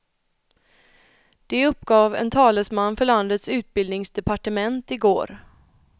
Det uppgav en talesman för landets utbildningsdepartement i går.